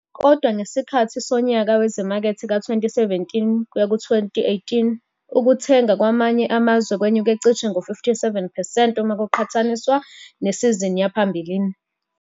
Kodwa, ngesikhathi sonyaka wezimakethe ka-2017 kuyaku 2018 ukuthenga kwamanye amazwe kwenyuke cishe ngo-57 percent uma kuqhathaniswa nesizini yaphambilini.